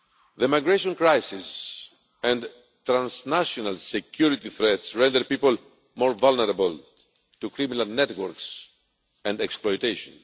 The migration crisis and transnational security threats render people more vulnerable to criminal networks and exploitation.